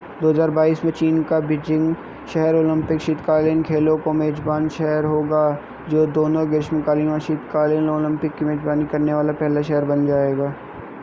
2022 में चीन का बीजिंग शहर ओलंपिक शीतकालीन खेलों का मेज़बान शहर होगा जो दोनों ग्रीष्मकालीन और शीतकालीन ओलंपिक की मेज़बानी करने वाला पहला शहर बन जाएगा